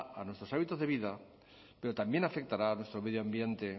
a nuestros hábitos de vida pero también afectará a nuestro medio ambiente